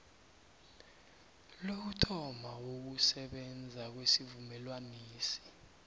lokuthoma ukusebenza kwesivumelwanesi